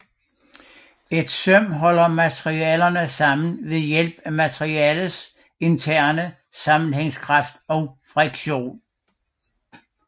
Et søm holder materialerne sammen ved hjælp materialets interne sammenhængningskraft og friktion